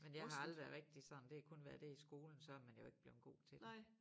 Men jeg har aldrig været rigtig sådan det har kun været det i skolen så man jo ikke blevet god til det